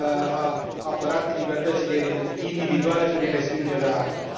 a apărat libertățile individuale prin respingerea ACTA.